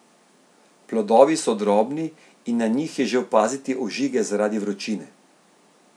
Plodovi so drobni in na njih je že opaziti ožige zaradi vročine.